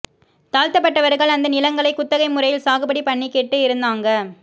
தாழ்த்தப்பட்டவர்கள் அந்த நிலங்களைக் குத்தகை முறையில் சாகுபடி பண்ணிக்கிட்டு இருந் தாங்க